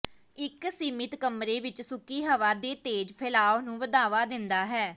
ਇੱਕ ਸੀਮਿਤ ਕਮਰੇ ਵਿੱਚ ਸੁੱਕੀ ਹਵਾ ਦੇ ਤੇਜ਼ ਫੈਲਾਅ ਨੂੰ ਵਧਾਵਾ ਦਿੰਦਾ ਹੈ